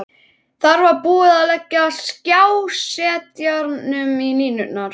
Þar með var búið að leggja skrásetjaranum línurnar.